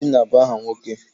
Obinna bụ aha nwoke.